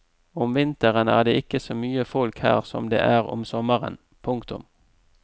Om vinteren er det ikke så mye folk her som det er om sommeren. punktum